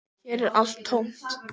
Hér er allt tómt